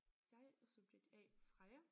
Jeg er subjekt A Freja